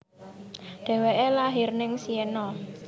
Deweke lahir neng Siena